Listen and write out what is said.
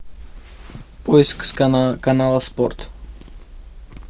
поиск канала спорт